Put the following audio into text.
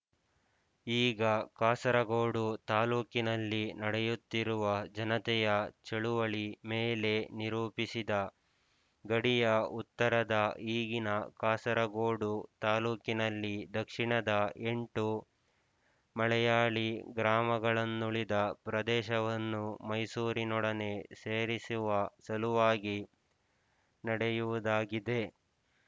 ಈಗ ಕಾಸರಗೋಡು ತಾಲೂಕಿನಲ್ಲಿ ನಡೆಯುತ್ತಿರುವ ಜನತೆಯ ಚಳುವಳಿ ಮೇಲೆ ನಿರೂಪಿಸಿದ ಗಡಿಯ ಉತ್ತರದ ಈಗಿನ ಕಾಸರಗೋಡು ತಾಲ್ಲೂಕಿನಲ್ಲಿ ದಕ್ಷಿಣದ ಎಂಟು ಮಲೆಯಾಳೀ ಗ್ರಾಮಗಳನ್ನುಳಿದ ಪ್ರದೇಶವನ್ನು ಮೈಸೂರಿನೊಡನೆ ಸೇರಿಸುವ ಸಲುವಾಗಿ ನಡೆಯುವುದಾಗಿದೆ